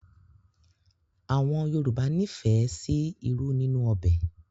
Àwọn Yorùbá nífẹ̀ẹ́ sí ìrù ninu òbé